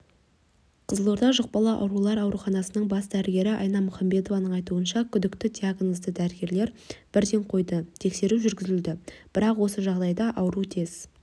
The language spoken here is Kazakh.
қызылорда жұқпалы аурулар ауруханасының бас дәрігері айна мухамбетованың айтуынша күдікті диагнозды дәрігерлер бірден қойды тексеру жүргізілді бәрақ осы жағдайда ауру тез